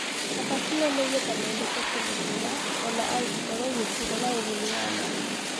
Athaki no maigue ta mendete kĩndũ kĩna o na angĩkorũo gĩtirĩ na ũguni wa ma.